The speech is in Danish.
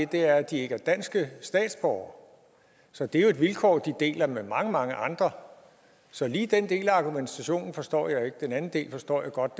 det er at de ikke er danske statsborgere så det er jo et vilkår de deler med mange mange andre så lige den del af argumentationen forstår jeg ikke den anden del forstår jeg godt